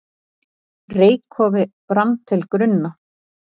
Reykkofi brann til grunna